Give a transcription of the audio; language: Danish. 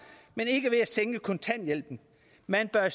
men ikke ved at sænke kontanthjælpen man bør